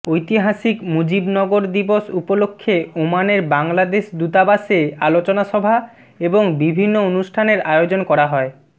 ঐতিহাসিক মুজিবনগর দিবস উপলক্ষে ওমানের বাংলাদেশ দূতাবাসে আলোচনা সভা এবং বিভিন্ন অনুষ্ঠানের আয়োজন করা হয়